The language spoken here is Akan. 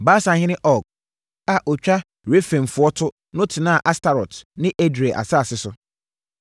Basanhene Og a ɔtwa Refaimfoɔ to no tenaa Astarot ne Edrei asase so.